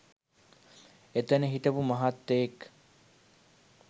එතන හිටපු මහත්තයෙක්